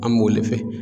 An b'o de fɛ